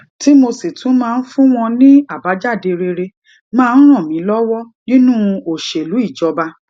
tí mo sì tún máa ń fún wọn ní àbájáde rere máa ń ràn mí lọwọ nínú òṣèlú ìjọba